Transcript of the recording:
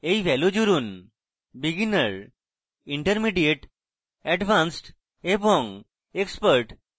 এটি ভ্যালু জুড়ুনbeginner intermediate advanced এবং expert